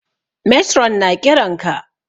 Matron na ƙiran ka